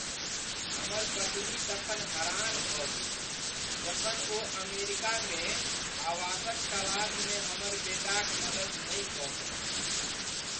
हमर पत्नी तखन हरान भऽ गेलीह जखन ओ अमेरिकामे आवासक तलासमे हमर बेटाक मदति नहि कऽ सकलीह।